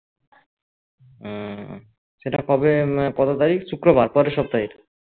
হম সেটা কবে কত তারিখ শুক্রবার পরের সপ্তাহে